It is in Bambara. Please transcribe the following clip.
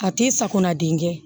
A tɛ sakona den kɛ